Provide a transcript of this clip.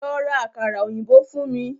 Lọ́ rá àkàrà òyìnbó fún mí!